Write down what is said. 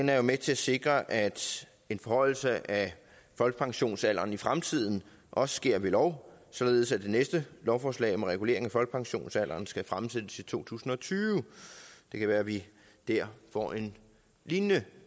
er med til at sikre at en forhøjelse af folkepensionsalderen i fremtiden også sker ved lov således at det næste lovforslag om regulering af folkepensionsalderen skal fremsættes i to tusind og tyve og det kan være at vi der får en lignende